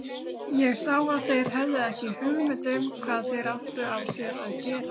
Ég sá að þeir höfðu ekki hugmynd um hvað þeir áttu af sér að gera.